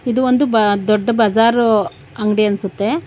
ಇದು ಒಂದು ದೊಡ್ಡ ಬಜಾರ್ ಅಂಗಡಿ ಅನ್ಸುತ್ತೆ.